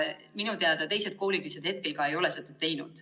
Minu teada teised koolid ei ole seda teinud.